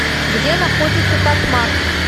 где находится татмак